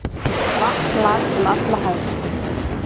Vatn lak um alla hæð.